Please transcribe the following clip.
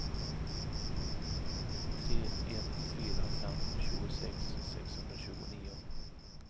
tre ett fyra fem tjugosex sexhundratjugonio